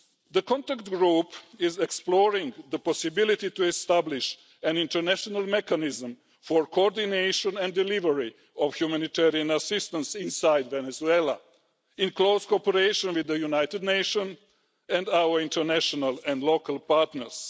The contact group is exploring the possibility of establishing an international mechanism for coordination and delivery of humanitarian assistance inside Venezuela in close cooperation with the United Nations and our international and local partners.